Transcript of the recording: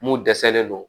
Mun dɛsɛlen no